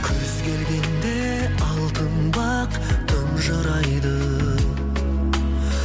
күз келгенде алтын бақ тұнжырайды